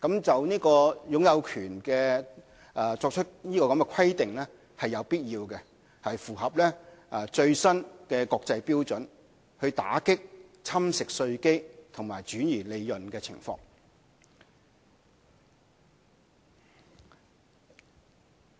就擁有權作出規定是有必要的，是符合最新的國際標準，用以打擊侵蝕稅基和轉移利潤的情況。